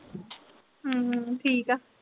ਹਮ ਹਮ ਠੀਕ ਆ।